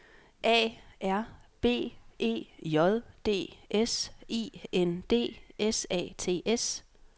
A R B E J D S I N D S A T S